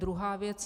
Druhá věc.